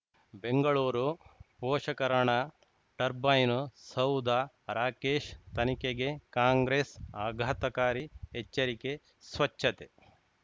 ಬೆಂಗಳೂರು ಪೋಷಕರಋಣ ಟರ್ಬೈನು ಸೌಧ ರಾಕೇಶ್ ತನಿಖೆಗೆ ಕಾಂಗ್ರೆಸ್ ಆಘಾತಕಾರಿ ಎಚ್ಚರಿಕೆ ಸ್ವಚ್ಛತೆ